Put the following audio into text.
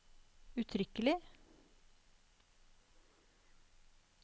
uttrykkelig